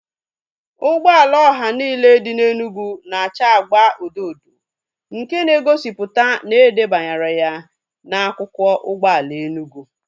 Ụgbọala ọha niile dị n'Enugu na acha agba odo odo nke na egosipụta na edebanyere ya na akwụkwọ ụgbọala Enugu